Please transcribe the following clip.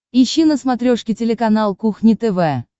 ищи на смотрешке телеканал кухня тв